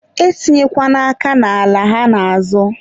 e tinyekwana aka n'ala ha na-azọ.